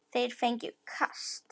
Þeir fengju kast!